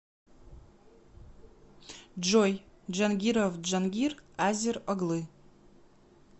джой джангиров джангир азер оглы